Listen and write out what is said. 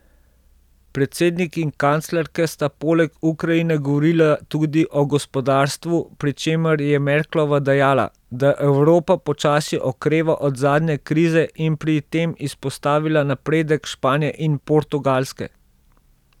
Predsednik in kanclerka sta poleg Ukrajine govorila tudi o gospodarstvu, pri čemer je Merklova dejala, da Evropa počasi okreva od zadnje krize in pri tem izpostavila napredek Španije in Portugalske.